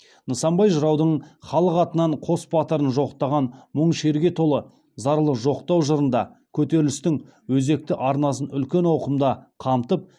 нысанбай жыраудың халық атынан қос батырын жоқтаған мұң шерге толы зарлы жоқтау жырында көтерілістің өзекті арнасын үлкен ауқымда қамтып